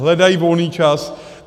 Hledají volný čas.